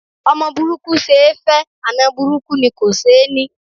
Ọmọ burúkú ṣe é fẹ́, àna burúkú ni kò ṣeé ní